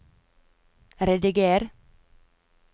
rediger